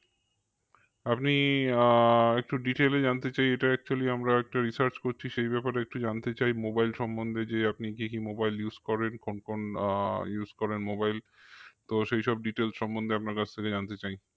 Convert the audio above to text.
আপনি আহ একটু detail এ জানতে চাই এটা actually আমরা একটা research করছি সেই ব্যাপারে একটু জানতে চাই mobile সম্বন্ধে যে আপনি কে কি mobile use করেন কোন কোন আহ use করেন mobile তো সেই সব details সম্বন্ধে আপনার কাছ থেকে জানতে চাই